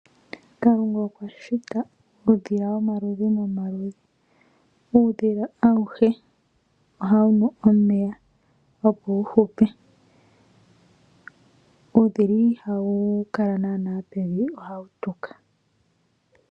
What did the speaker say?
Kalunga okwashita uudhila womaludhi nomaludhi. Uudhila awuhe ohawu nu omeya opo wuhupe. Uudhila ihawu kala nana pevi ohawu tuka.